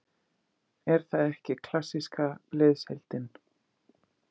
Er það ekki klassíska liðsheildin?